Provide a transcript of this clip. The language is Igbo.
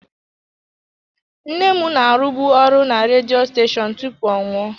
Nne m na-arụbu ọrụ na redio steshoonu tupu ọ nwụọ.